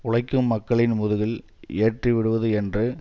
உழைக்கும் மக்களின் முதுகில் ஏற்றிவிடுவது என்று